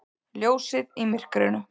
Ljósið í myrkrinu!